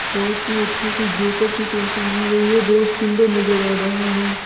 बहुत ही अच्छे से जोक की पेंटिंग की गई है बहुत सुंदर नजर आ रहा है ।